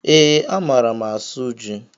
Ee, a maara m asụ ji